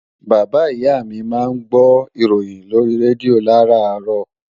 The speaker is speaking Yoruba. Bàbáa ìyá mi máa ń gbó ìròyìn lórí rédíò làràárọ̀